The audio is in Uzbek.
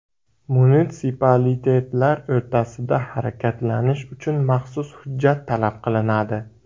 Munitsipalitetlar o‘rtasida harakatlanish uchun maxsus hujjat talab qilinadi.